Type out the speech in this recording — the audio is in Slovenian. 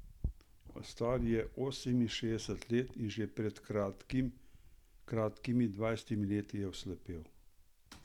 Star je oseminšestdeset let in že pred kakimi dvajsetimi leti je oslepel.